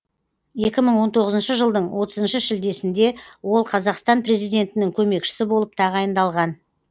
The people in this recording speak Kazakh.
екі мың он тоғызыншы жылдың отызыншы шілдесінде ол қазақстан президентінің көмекшісі болып тағайындалған